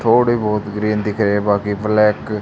थोडे बहुत ग्रीन दिख रहें बाकी ब्लैक --